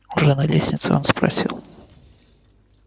уже на лестнице он спросил